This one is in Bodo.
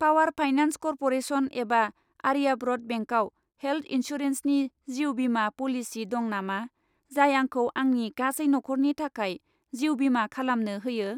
पावार फाइनान्स कर्प'रेसन एबा आर्याव्रत बेंकआव हेल्थ इन्सुरेन्सनि जिउ बीमा प'लिसि दं नामा, जाय आंखौ आंनि गासै नखरनि थाखाय जिउ बीमा खालामनो होयो?